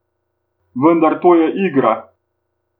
Vendar to je igra.